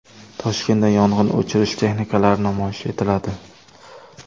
Toshkentda yong‘in o‘chirish texnikalari namoyish etiladi.